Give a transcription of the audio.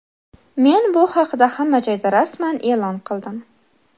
Men bu haqida hamma joyda rasman e’lon qildim.